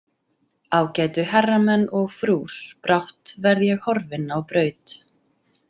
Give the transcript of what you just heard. Ágætu herramenn og frúr, brátt verð ég horfinn á braut.